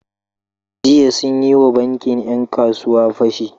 Jiya sun yi wa bankin ‘yan kasuwa fashi.